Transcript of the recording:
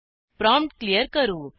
prompt clear करू